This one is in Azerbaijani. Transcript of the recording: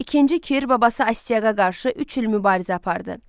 İkinci Kir babası Astiaqa qarşı üç il mübarizə apardı.